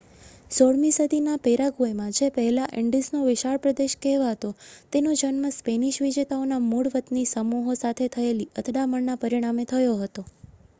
"16મી સદીના પેરાગ્વેમાં જે પહેલાં "ઇન્ડીઝનો વિશાળ પ્રદેશ" કહેવાતો તેનો જન્મ સ્પેનિશ વિજેતાઓના મૂળ વતની સમૂહો સાથે થયેલી અથડામણના પરિણામે થયો હતો.